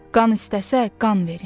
Qan istəsə qan verin.